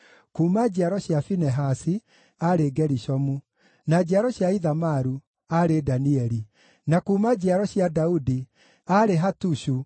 kuuma njiaro cia Finehasi, aarĩ Gerishomu; na njiaro cia Ithamaru, aarĩ Danieli; na kuuma njiaro cia Daudi, aarĩ Hatushu